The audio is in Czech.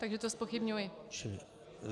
Takže to zpochybňuji.